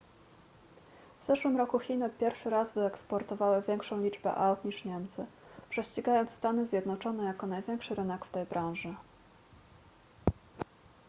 w zeszłym roku chiny pierwszy raz wyeksportowały większą liczbę aut niż niemcy prześcigając stany zjednoczone jako największy rynek w tej branży